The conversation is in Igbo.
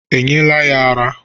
E nyere ya ara?